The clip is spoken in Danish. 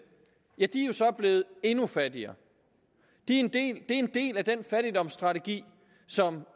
ja de er jo så blevet endnu fattigere det er en del af den fattigdomsstrategi som